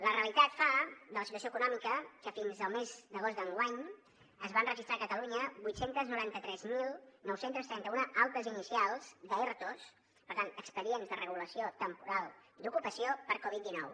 la realitat fa de la situació econòmica que fins al mes d’agost d’enguany es van registrar a catalunya vuit cents i noranta tres mil nou cents i trenta un altes inicials d’ertos per tant expedients de regulació temporal d’ocupació per covid dinou